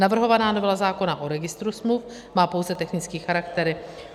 Navrhovaná novela zákona o registru smluv má pouze technický charakter.